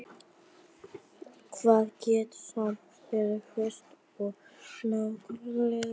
Hvað gera samkeppnisyfirvöld nákvæmlega?